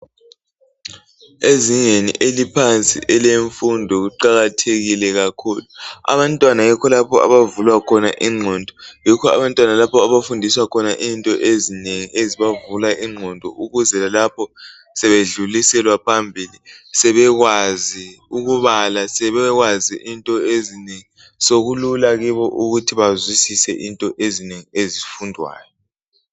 ezingeni eliphansi elemfundo kuqakathekile kakhulu abantwana yikho lapho abavulwa khona inqondo yikho lapho abantwana abafundiswa khona into ezinengi ezibavula inqondo ukuze lalapho sebedluliselwa phambili sebekwazi ukubala sebekwazi into ezinengi sokulula kibo ukuthi bazwisise into ezinengi ezifundwayo